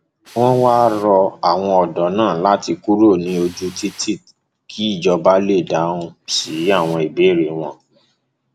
wọn wáá rọ àwọn ọdọ náà láti kúrò ní ojú títì kí ìjọba lè dáhùn sí àwọn ìbéèrè wọn